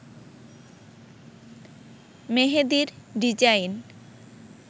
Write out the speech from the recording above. মেহেদীর design